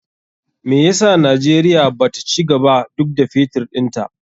Me yasa Najeriya bata cigaba duk da Fetur ɗinta?